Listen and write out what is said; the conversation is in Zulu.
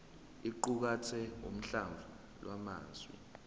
iqukathe uhlamvu lwamazwi